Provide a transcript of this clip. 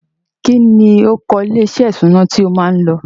Kí ni orúkọ ilé-iṣẹ́ ìṣúná tí o máa lọ?